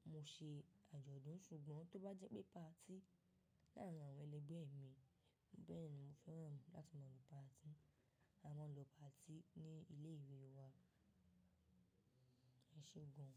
tí mo se àjọ̀dún ṣùgbọ́n tó bá jẹ́ pé patí láàárín àwọn ẹlẹgbẹ́ mi, bẹ́ẹ̀ni mo fẹ́ràn láti máa lọ patí. A máa ń lọ patí ní ilé ìwé wa ní ṣígun.